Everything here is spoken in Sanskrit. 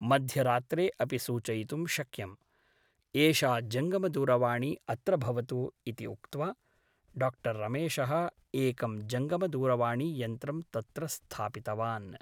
मध्यरात्रे अपि सूचयितुं शक्यम् । एषा जङ्गमदूरवाणी अत्र भवतु ' इति उक्त्वा डाक्टर् रमेशः एकं जङ्गमदूरवाणीयन्त्रं तत्र स्थापितवान् ।